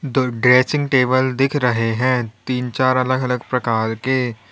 तो dressing table दिख रहे हैं तीन चार अलग अलग प्रकार के।